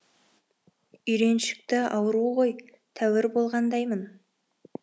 үйреншікті ауру ғой тәуір болғандаймын